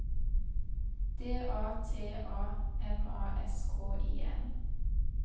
D A T A M A S K I N